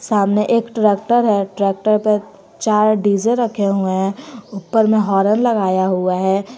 सामने एक ट्रैक्टर है ट्रैक्टर पर चार डी जे रखे हुए हैं ऊपर में हॉर्न लगाया हुआ है।